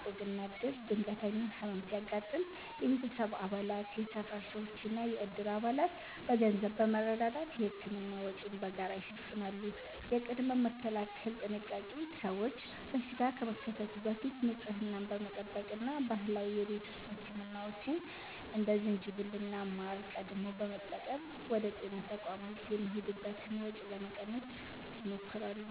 (ዕቁብና ዕድር)፦ ድንገተኛ ሕመም ሲያጋጥም የቤተሰብ አባላት፣ የሰፈር ሰዎችና የዕድር አባላት በገንዘብ በመረዳዳት የሕክምና ወጪን በጋራ ይሸፍናሉ። የቅድመ-መከላከል ጥንቃቄ፦ ሰዎች በሽታ ከመከሰቱ በፊት ንጽህናን በመጠበቅ እና ባህላዊ የቤት ውስጥ ሕክምናዎችን (እንደ ዝንጅብልና ማር) ቀድመው በመጠቀም ወደ ጤና ተቋማት የሚሄዱበትን ወጪ ለመቀነስ ይሞክራሉ።